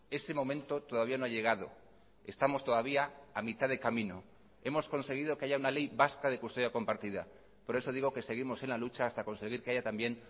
ese momento todavía no ha llegado estamos todavía a mitad de camino hemos conseguido que haya una ley vasca de custodia compartida por eso digo que seguimos en la lucha hasta conseguir que haya también